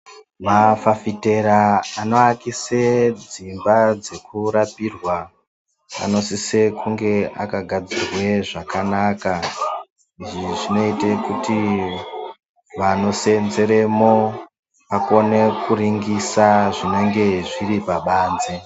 Mafafitera anovakisa dzimba dzekurapirwa anosisa kugadzirwa zvakanaka izvi zvinoita kuti vanosenzeremo vakone kuringisa zvinenge zviri pabanze.